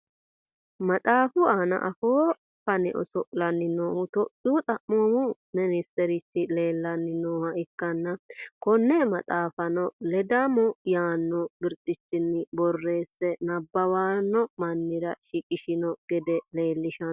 maxaafu aana afoo fane oso'lanni noohu topiyu xaphoomu ministerichi leelanni nooha ikkanna, konne maxaafano ledammo yaanno birxichinni borreesse nabbawanno mannira shiqishino gede leelishanno.